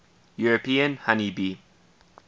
european honey bee